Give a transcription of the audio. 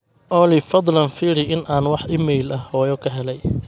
olly fadhlan firi in aan wax iimayl ah hoyo ka helay